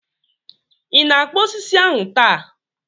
Ị na-akpụ osisi ahu taa?